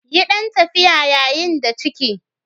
Yi ɗan tafiya yayin da ciki.